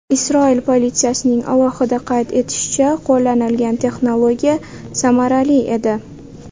Isroil politsiyasining alohida qayd etishicha , qo‘llanilgan texnologiya samarali edi.